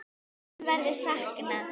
Þín verður saknað.